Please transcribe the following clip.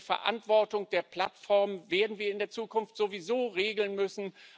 Die Verantwortung der Plattformen werden wir in der Zukunft sowieso regeln müssen.